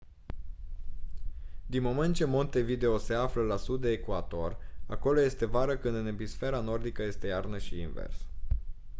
din moment ce montevideo se află la sud de ecuator acolo este vară când în emisfera nordică este iarnă și invers